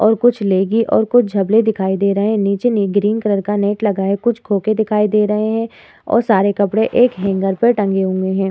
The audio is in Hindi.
और कुछ लेगी ओर कुछ झावले दिखाई दे रहे हैं। नीचे मे एक ग्रीन कलर का नेट लगा है। कुछ खोके दिखाई दे रहे हैं और सारे कपड़े एक हैंगअर पे टंगे हुए हैं।